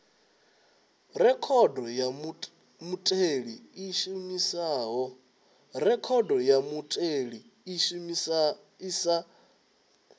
rekhodo ya mutheli i sa shumiho